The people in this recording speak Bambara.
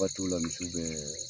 Waatiw la misiw bɛɛ